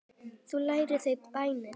Þar læra þau bænir.